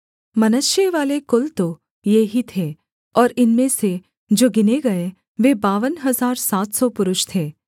मनश्शेवाले कुल तो ये ही थे और इनमें से जो गिने गए वे बावन हजार सात सौ पुरुष थे